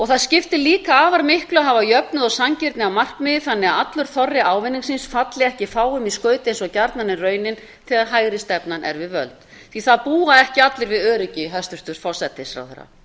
það skiptir líka afar miklu að hafa jöfnuð og sanngirni að markmiði þannig að allur þorri ávinningsins falli ekki fáum í skaut eins og gjarnan er raunin þegar hægri stefnan er við völd það búa ekki allir við öryggi hæstvirtur forsætisráðherra